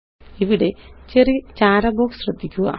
ഇവിടെ ചെറിയ ചാര ബോക്സ് ശ്രദ്ധിക്കുക